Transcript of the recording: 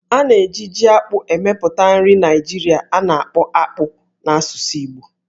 A na-eji Jí-akpụ emepụta nri Naijiria a na-akpọ "Akpu" n'asụsụ Igbo